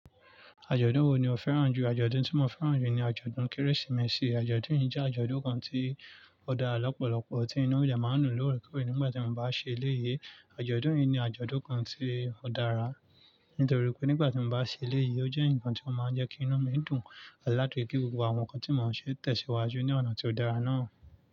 Àjọ̀dún wo ni o fẹ́ràn jù? Àjọ̀dún tí mo fẹ́ràn jù ni àjọ̀dún Kérésìmesì. Àjọ̀dún yìí jẹ́ àjọ̀dún kan tí ó dára lọ́pọ̀lọ́pọ̀. Tí inú eeyan máa ń dun lóore kóore nígbà tí eeyan bá ṣe léyé. Àjọ̀dún yìí ni àjọ̀dún kan tí ó dára, nítorí pé nígbà tí mo bá ṣe léyé, ó jẹ́ ǹkan tí ó máa ń jẹ́ kí inú mi dùn, láti kí gbogbo àwọn nǹkan tí mo ṣe tẹ̀síwájú ní ọ̀nà tí ó dára náà.